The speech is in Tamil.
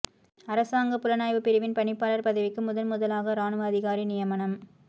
அரசாங்க புலனாய்வு பிரிவின் பணிப்பாளர் பதவிக்கு முதன் முதலாக ராணுவ அதிகாரி நியமனம்